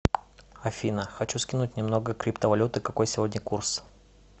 афина хочу скинуть немного криптовалюты какой сегодня курс